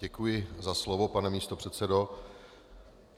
Děkuji za slovo, pane místopředsedo.